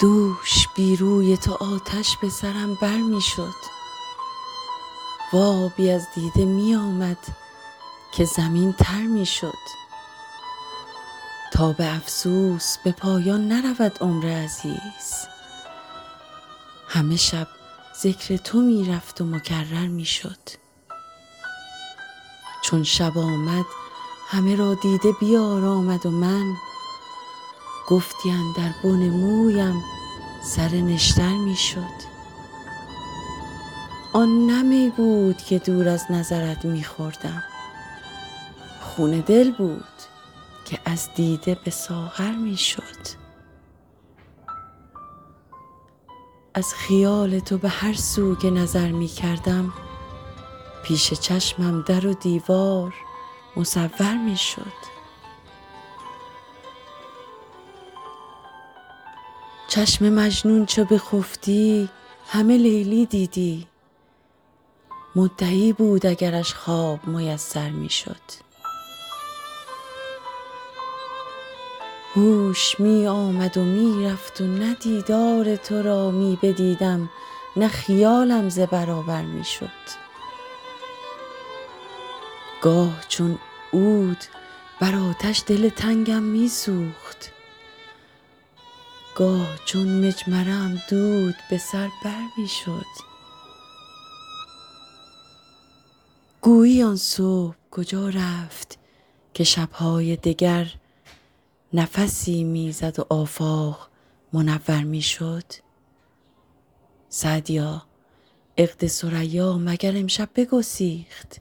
دوش بی روی تو آتش به سرم بر می شد و آبی از دیده می آمد که زمین تر می شد تا به افسوس به پایان نرود عمر عزیز همه شب ذکر تو می رفت و مکرر می شد چون شب آمد همه را دیده بیارامد و من گفتی اندر بن مویم سر نشتر می شد آن نه می بود که دور از نظرت می خوردم خون دل بود که از دیده به ساغر می شد از خیال تو به هر سو که نظر می کردم پیش چشمم در و دیوار مصور می شد چشم مجنون چو بخفتی همه لیلی دیدی مدعی بود اگرش خواب میسر می شد هوش می آمد و می رفت و نه دیدار تو را می بدیدم نه خیالم ز برابر می شد گاه چون عود بر آتش دل تنگم می سوخت گاه چون مجمره ام دود به سر بر می شد گویی آن صبح کجا رفت که شب های دگر نفسی می زد و آفاق منور می شد سعدیا عقد ثریا مگر امشب بگسیخت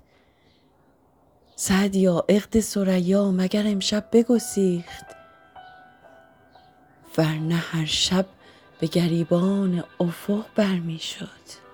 ور نه هر شب به گریبان افق بر می شد